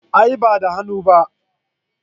A'a ba da hannu na ba